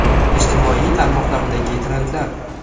Ijtimoiy tarmoqlardagi trendlar.